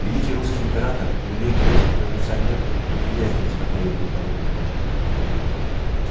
великий русский император и великий русский революционер неприязненно смотрели друг на друга